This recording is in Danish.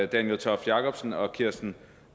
daniel toft jakobsen og kirsten